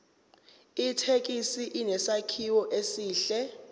ithekisi inesakhiwo esihle